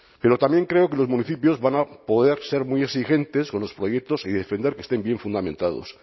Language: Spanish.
pero también creo que los municipios van a poder ser muy exigentes con los proyectos y defender que estén bien fundamentados